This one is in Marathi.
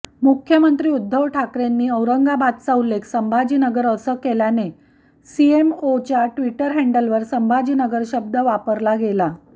मुख्यमंत्री उद्धव ठाकरेंनी औरंगाबादचा उल्लेख संभाजीनगर असा केल्यानं सीएमओच्या ट्विटर हँडलवर संभाजीनगर शब्द वापरला गेला